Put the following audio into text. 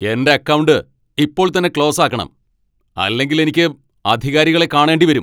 എന്റെ അക്കൗണ്ട് ഇപ്പോൾ തന്നെ ക്ലോസ് ആക്കണം, അല്ലെങ്കിൽ എനിക്ക് അധികാരികളെ കാണേണ്ടി വരും.